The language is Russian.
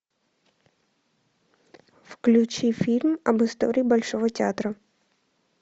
включи фильм об истории большого театра